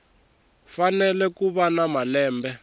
fanele ku va na malembe